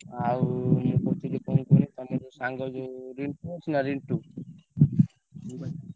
ଆଉ ମୁଁ କହୁଥିଲି କଣ କୁହନି ତମ ଯୋଉ ସାଙ୍ଗ ଯୋଉ ରିଣ୍ଟୁ ଅଛି ନା ରିଣ୍ଟୁ?